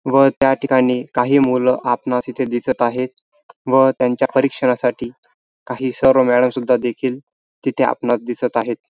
व त्या ठिकाणी काही मूल आपणास इथे दिसत आहेत व त्यांच्या परीक्षणासाठी काही सर व मॅडम सुद्धा देखील तिथे आपणास दिसत आहेत.